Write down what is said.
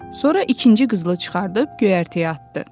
Sonra ikinci qızılı çıxarıb göyərtəyə atdı.